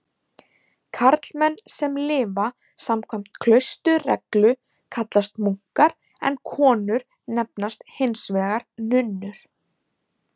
Karlmenn sem lifa samkvæmt klausturreglu kallast munkar en konur nefnast hins vegar nunnur.